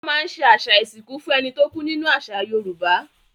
Wọ́n máa ń ṣe àṣà ìsìnkú fún ẹni tó kú nínú àṣà Yorùbá.